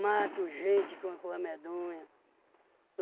Mato gente que é uma coisa medonha.